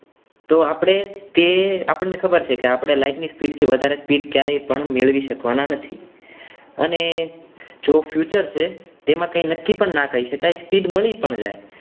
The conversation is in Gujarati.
તો તે આપણને ખબર છે કે તે કે આપણે light ની આટલી વધારે speed ક્યારે પણ મેળવી શકાતા નથી અને જો feature છે તેમાં કંઈ નક્કી પણ ના કહી શકાય speed મળી પણ જાય.